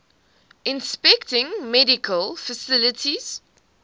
inspecting medical facilities